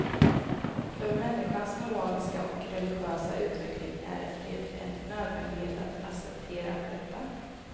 För människans moraliska och religiösa utveckling är det en nödvändighet att acceptera detta.